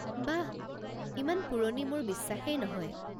বাহ, ইমান পুৰণি মোৰ বিশ্বাসেই নহয়।